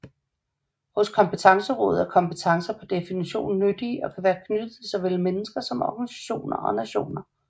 Hos Kompetencerådet er kompetencer per definition nyttige og kan være knyttet til såvel mennesker som organisationer og nationer